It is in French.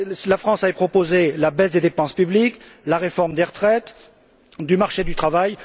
La France avait proposé la baisse des dépenses publiques, la réforme des retraites et du marché du travail.